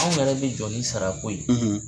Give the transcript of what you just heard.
Anw yɛrɛ bɛ jɔ ni sarako ye.